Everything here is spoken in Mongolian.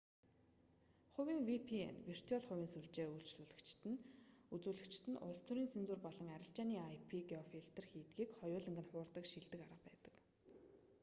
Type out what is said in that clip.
хувийн vpn виртуал хувийн сүлжээ үзүүлэгчид нь улс төрийн цензур болон арилжааны ip-геофилтер хийдгийг хоёуланг нь хуурдаг шилдэг арга байдаг